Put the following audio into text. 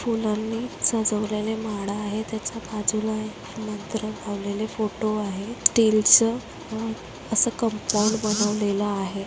फुलांनी सजवलेले माडा आहे त्याच्या बाजूला एक मंत्र लावलेले फोटो आहे स्टीलचं असं कंपाऊंड बनवलेलं आहे.